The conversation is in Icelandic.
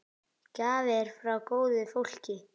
Gjafir frá góðu fólki.